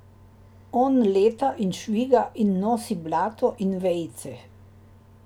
On leta in šviga in nosi blato in vejice.